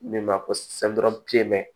Min b'a ko